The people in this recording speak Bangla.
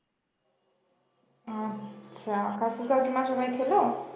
আচ্ছা কাকু কাকিমা সবাই খেলো?